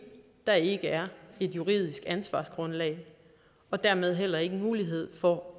der ikke er et juridisk ansvarsgrundlag og dermed heller ikke mulighed for